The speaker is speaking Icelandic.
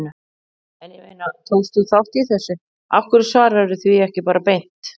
En ég meina, tókst þú þátt í þessu, af hverju svararðu því ekki bara beint?